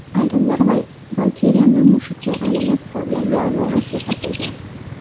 Ayrimlar Valkiriyani mushukka aylanib qolgan yalmog‘iz deb atagan.